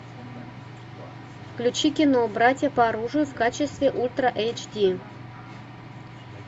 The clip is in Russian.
включи кино братья по оружию в качестве ультра эйч ди